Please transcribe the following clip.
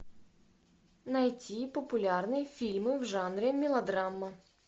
найти популярные фильмы в жанре мелодрама